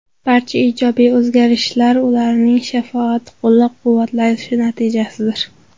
Barcha ijobiy o‘zgarishlar ularning sharofati, qo‘llab-quvvatlashi natijasidir.